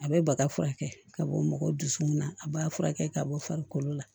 A bɛ baga furakɛ ka bɔ mɔgɔw dusukun na a b'a furakɛ ka bɔ farikolo la